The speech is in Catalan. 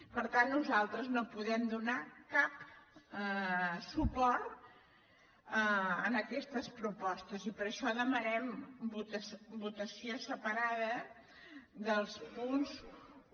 per tant nosaltres no podem donar cap suport a aquestes propostes i per això demanem votació separada dels punts un